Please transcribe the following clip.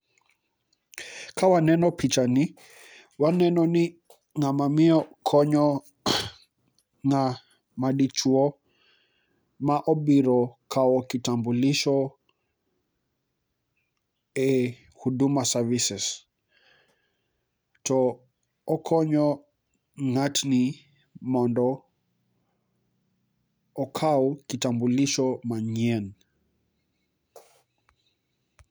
kawa neno pichani waneno ni ng'ama miyo konyo ng'ama dichuo ma obiro kawo kitamulisho e duduma services to okonyo ng'atni mondo okaw kitambulisho manyien